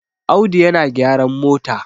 Audu yana gyran mota